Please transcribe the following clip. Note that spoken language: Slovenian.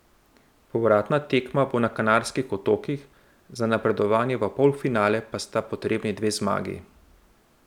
Povratna tekma bo na Kanarskih otokih, za napredovanje v polfinale pa sta potrebni dve zmagi.